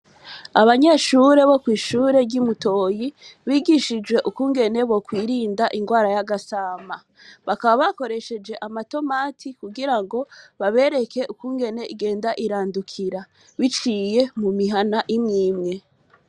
Abanyeshure bo kw’ishure ry’i Mutoyi, bigishijwe ukungene bokwirinda ingwara y’agasama; bakaba bakoresheje amatomati kugira ngo babereke ukungene igenda irandukira biciye mu mihana imwe imwe.